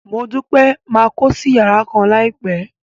Modupe máa kósí yàrá kan láìpẹ́.